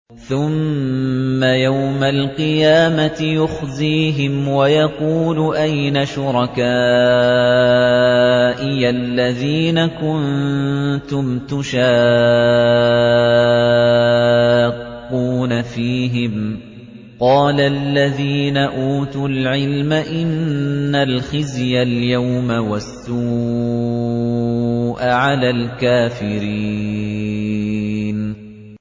ثُمَّ يَوْمَ الْقِيَامَةِ يُخْزِيهِمْ وَيَقُولُ أَيْنَ شُرَكَائِيَ الَّذِينَ كُنتُمْ تُشَاقُّونَ فِيهِمْ ۚ قَالَ الَّذِينَ أُوتُوا الْعِلْمَ إِنَّ الْخِزْيَ الْيَوْمَ وَالسُّوءَ عَلَى الْكَافِرِينَ